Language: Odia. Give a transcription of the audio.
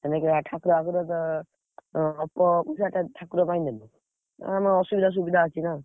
ହେଲେ ଠାକୁର ଆଗୁରୁ ତ, ହଁ ଅଳ୍ପ ପଇସାଟା ଠାକୁର ପାଇଁ ଦେଲି, ଆଁ ଆମ ଅସୁବିଧା ସୁବିଧା ଅଛି ନା।